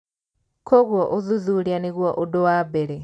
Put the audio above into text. Kwoguo ũthuthuria nĩguo ũndũ wa mbere